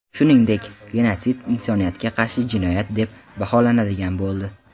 Shuningdek, genotsid insoniyatga qarshi jinoyat deb baholanadigan bo‘ldi.